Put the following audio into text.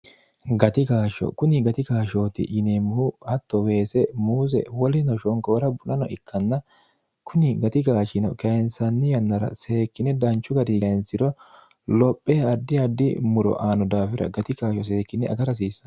gati gaashsho kuni gati gaashshooti yineemmohu hatto weese muuse wolino shonqoora bu'nano ikkanna kuni gati gaashino kayinsanni yannara seekkine danchu gari lainsiro lophe addi addi muro aano daafira gatigaasho seekkinne aga rahsiissano